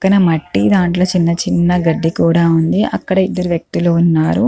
పక్కన మట్టి దాంట్లో చిన్న చిన్న గడ్డి కూడా ఉంది అక్కడ ఇద్దరు వ్యక్తులు ఉన్నారు.